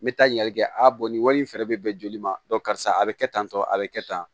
N bɛ taa ɲani kɛ a nin wari in fɛnɛ bɛ bɛn joli ma karisa a bɛ kɛ tan tɔ a bɛ kɛ tan